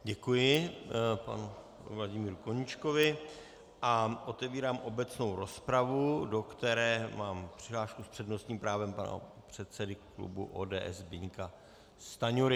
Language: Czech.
Děkuji panu Vladimíru Koníčkovi a otevírám obecnou rozpravu, do které mám přihlášku s přednostním právem pana předsedy klubu ODS Zbyňka Stanjury.